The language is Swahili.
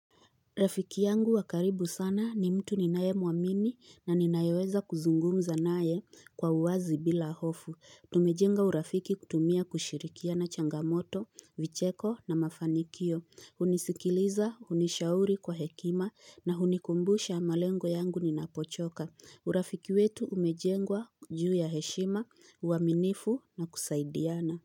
Rafiki yangu wa karibu sana ni mtu ninae muamini na ninayeweza kuzungumza naye kwa uwazi bila hofu. Tumejenga urafiki kutumia kushirikia na changamoto, vicheko na mafanikio. Hunisikiliza, hunishauri kwa hekima na hunikumbusha malengo yangu ninapochoka. Urafiki wetu umejengwa juu ya heshima, uaminifu na kusaidiana.